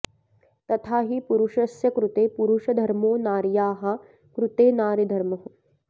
तथा हि पुरुषस्य कृते पुरुषधर्मो नार्याः कृते नारीधर्मः